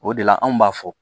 O de la anw b'a fɔ